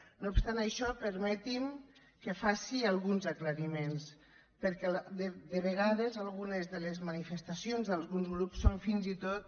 no obstant això permetin que faci alguns aclariments perquè de vegades algunes de les manifestacions d’alguns grups són fins i tot